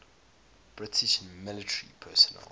british military personnel